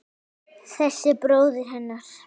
Þessi bróðir hennar!